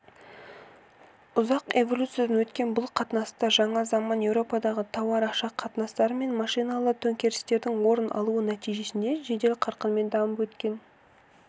ұзақ эволюциядан өткен бұл қатынастар жаңа заманда еуропадағы тауар-ақша қатынастары мен машиналы төңкерістің орын алуы нәтижесінде жедел қарқынмен дамып өткен